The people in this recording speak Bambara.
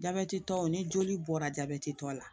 Jabɛtitɔ ni joli bɔra jabɛtitɔ la